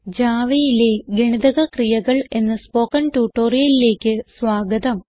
Javaയിലെ ഗണിതക ക്രിയകൾ എന്ന സ്പോകെൻ ട്യൂട്ടോറിയലിലേക്ക് സ്വാഗതം